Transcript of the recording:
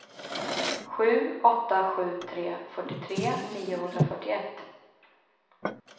sju åtta sju tre fyrtiotre niohundrafyrtioett